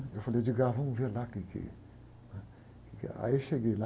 Eu falei, vamos ver lá o quê que, né? O que que... Aí eu cheguei lá,